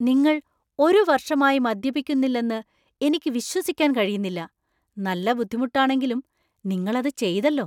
നിങ്ങൾ ഒരു വർഷമായി മദ്യപിക്കുന്നില്ലെന്ന് എനിക്ക് വിശ്വസിക്കാൻ കഴിയുന്നില്ല! നല്ല ബുദ്ധിമുട്ടാണെങ്കിലും നിങ്ങൾ അത് ചെയ്‌തല്ലോ!